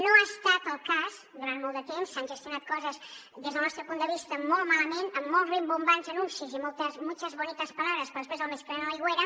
no ha estat el cas durant molt de temps s’han gestionat coses des del nostre punt de vista molt malament amb molt rimbombants anuncis i muchas bonitas palabras però després el més calent a l’aigüera